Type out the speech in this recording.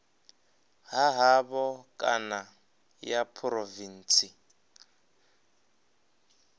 ha havho kana ya phurovintsi